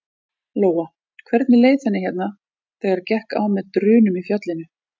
Lóa: Hvernig leið henni hérna þegar gekk á með drunum í fjallinu?